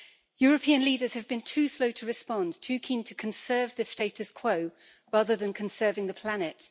European leaders have been too slow to respond, too keen to conserve the status quo, rather than conserving the planet.